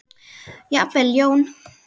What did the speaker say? Jafnvel Jón